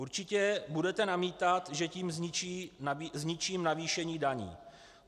Určitě budete namítat, že tím zničím navýšení daní.